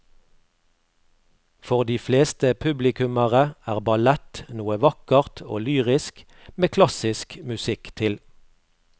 For de fleste publikummere er ballett noe vakkert og lyrisk med klassisk musikk til.